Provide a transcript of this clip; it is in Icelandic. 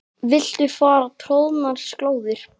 Viltu fara troðnar slóðir?